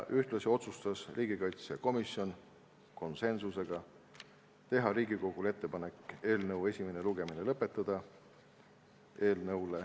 Ühtlasi otsustas riigikaitsekomisjon konsensusega teha Riigikogule ettepaneku eelnõu esimene lugemine lõpetada.